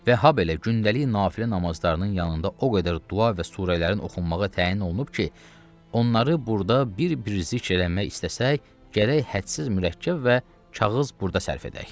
Və habelə gündəlik nafilə namazlarının yanında o qədər dua və surələrin oxunmağa təyin olunub ki, onları burda bir-bir zikr eləmək istəsək, gərək hədsiz mürəkkəb və kağız burda sərf edək.